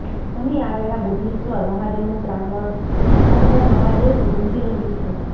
અહીં આવેલા બુઢેશ્વર મહાદેવનું પ્રાંગણ હર હર મહાદેવથી ગુંજી રહ્યું છે